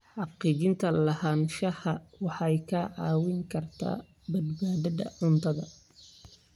Xaqiijinta lahaanshaha waxay kaa caawin kartaa badbaadada cuntada.